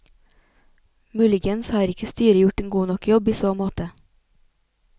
Muligens har ikke styret gjort en god nok jobb i så måte.